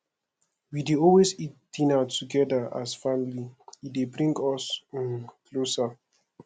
we dey always eat dinner togeda as family e dey bring us um closer